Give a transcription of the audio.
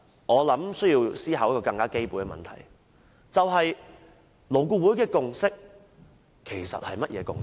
我想，有一個基本的問題需要思考，勞顧會的共識其實是甚麼共識？